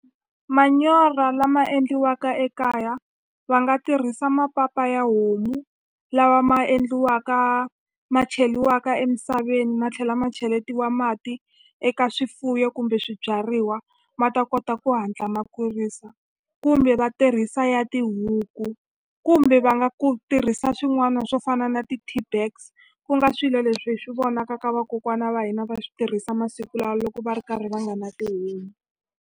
Manyoro lama endliwaka ekaya va nga tirhisa mapapa ya homu lawa ma endliwaka ma cheliwaka emisaveni ma tlhela ma cheletiwa mati eka swifuyo kumbe swibyariwa ma ta kota ku hatla ma kurisa kumbe va tirhisa ya tihuku kumbe va nga ku tirhisa swin'wana swo fana na ti-tea bags ku nga swilo leswi hi swi vonaka ka vakokwana va hina va swi tirhisa masiku lawa loko va ri karhi va nga na .